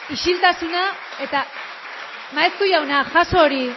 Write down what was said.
isiltasuna eta maeztu jauna jaso hori